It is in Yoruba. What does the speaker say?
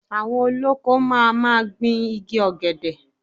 Àwọn olóko máa ma gbìn igi Ọ̀gẹ̀dẹ̀.